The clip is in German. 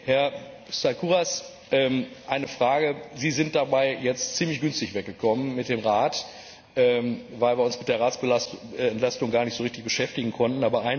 Herr Staikouras eine Frage Sie sind dabei jetzt ziemlich günstig weggekommen mit dem Rat, weil wir uns mit der Ratsentlastung gar nicht so richtig beschäftigen konnten.